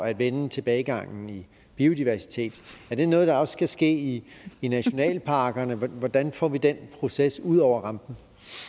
at vende tilbagegangen i biodiversitet er det noget der også skal ske i nationalparkerne hvordan får vi den proces ud over rampen